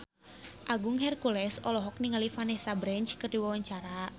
Agung Hercules olohok ningali Vanessa Branch keur diwawancara